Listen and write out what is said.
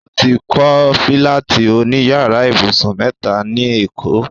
O ti kọ́ fílátì òní yàrá ibùsùn mẹ́ta ní èkó